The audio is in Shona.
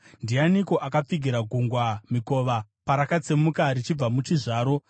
“Ndianiko akapfigira gungwa mikova parakatsemuka richibva muchizvaro,